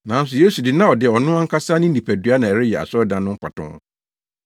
Nanso Yesu de, na ɔde ɔno ankasa ne nipadua na ɛreyɛ asɔredan no mfatoho,